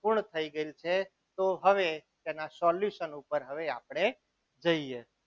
પૂર્ણ થઈ ગયેલ છે તો હવે એના solution ઉપર હવે આપણે જઈએ.